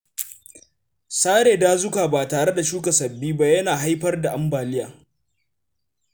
Sare dazuka ba tare da shuka sababbi ba yana haifar da ambaliya.